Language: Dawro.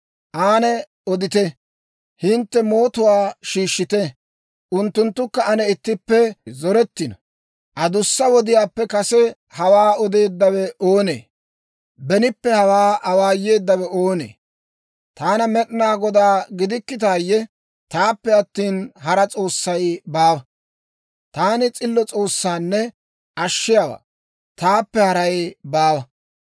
Ane odite; hintte mootuwaa shiishshite; unttunttukka ane ittippe zorettino. Adussa wodiyaappe kase hawaa odeeddawe oonee? Benippe hawaa awaayeeddawe oonee? Taana Med'inaa Godaa gidikkitaayye? Taappe attina hara S'oossay baawa. Taani s'illo S'oossaanne Ashshiyaawaa. Taappe haray baawa.